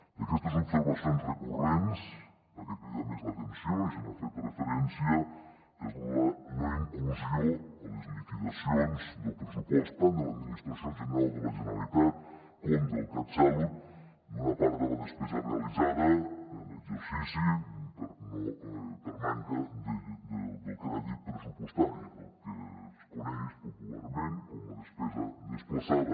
d’aquestes observacions recurrents la que crida més l’atenció ja n’han fet referència és la no inclusió a les liquidacions del pressupost tant de l’administració general de la generalitat com del catsalut d’una part de la despesa realitzada en exercici per manca del crèdit pressupostari del que es coneix popularment com la despesa desplaçada